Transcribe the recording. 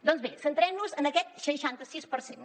doncs bé centrem nos en aquest seixanta sis per cent